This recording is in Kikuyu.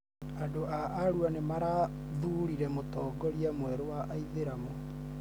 Andũ a Arua nĩmarathurire Mũtongoria mwerũ wa aithĩramu